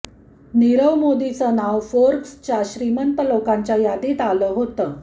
नीरव मोदीचं नाव फोर्ब्सच्या श्रीमंत लोकांच्या यादीत आलं होतं